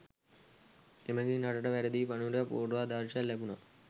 එමගින් රටට වැරදි පණිවුඩයක් පුර්වාදර්ශයක් ලැබුණා